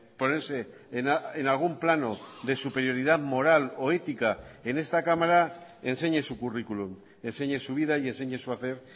ponerse en algún plano de superioridad moral o ética en esta cámara enseñe su currículum enseñe su vida y enseñe su hacer